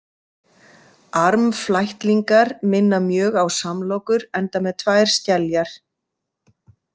Armflætlingar minna mjög á samlokur enda með tvær skeljar.